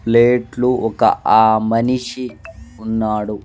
Plate లు ఒక ఆ మనిషి ఉన్నాడు.